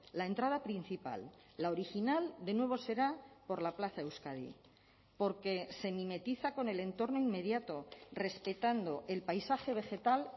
la entrada principal la original de nuevo será por la plaza euskadi porque se mimetiza con el entorno inmediato respetando el paisaje vegetal